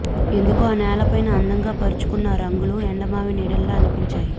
ఎందుకో ఆ నేలపైన అందంగా పరచుకున్న ఆ రంగులు ఎండమావి నీడల్లా అనిపించాయి